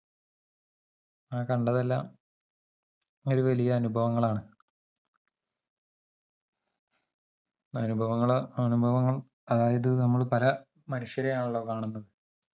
അങ്ങനെ കണ്ടതെല്ലാം ഒരുവലിയ അനുഭവങ്ങളാണ് അനുഭവങ്ങൾ അനുഭവങ്ങൾ അതായത് നമ്മൾ പല മനുഷ്യരെയാണല്ലോ കാണുന്നത്